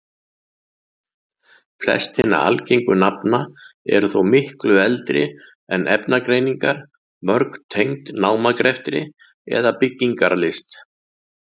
Flest hinna algengu nafna eru þó miklu eldri en efnagreiningar, mörg tengd námagreftri eða byggingarlist.